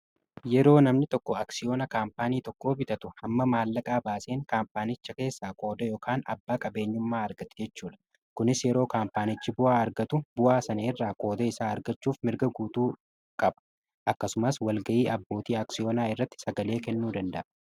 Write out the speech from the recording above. yeroo namni tokko aksiyoona kaampaanii tokko bitatu hamma maallaqaa baaseen kaampaanicha keessa kooda ykan abbaa qabeenyummaa argatu jechuudha kunis yeroo kaampaanichi bu'aa argatu bu'aa sana irraa kooda isaa argachuuf mirga guutuu qaba akkasumas walga'ii abbootii aksiyoonaa irratti sagalee kennuu danda'a